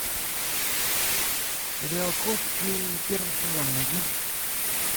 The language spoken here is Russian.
сериал кости первый сезон найди